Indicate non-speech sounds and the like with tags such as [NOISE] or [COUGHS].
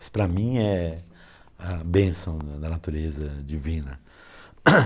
Isso para mim é a bênção [UNINTELLIGIBLE] da natureza divina. [COUGHS]